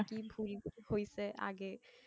কি ভুল হইসে আগে।